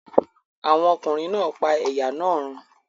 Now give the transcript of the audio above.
Àwọn ọkùnrin náà pa ẹ̀yà náà run?